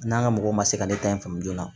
N'an ka mɔgɔw ma se ka ne ta in faamu joona